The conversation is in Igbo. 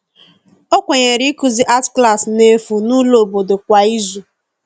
ọ Kwenyere ikuzi arti Klassi n'efu n'ulo obodo kwa ịzụ